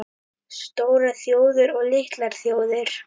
STÓRAR ÞJÓÐIR OG LITLAR ÞJÓÐIR